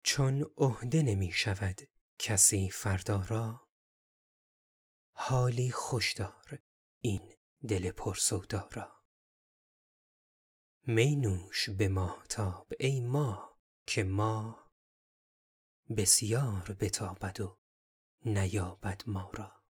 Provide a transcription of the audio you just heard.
چون عهده نمی شود کسی فردا را حالی خوش دار این دل پر سودا را می نوش به ماهتاب ای ماه که ماه بسیار بتابد و نیابد ما را